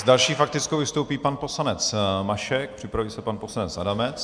S další faktickou vystoupí pan poslanec Mašek, připraví se pan poslanec Adamec.